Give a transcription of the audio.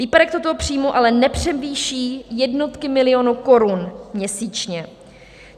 Výpadek tohoto příjmu ale nepřevýší jednotky milionů korun měsíčně.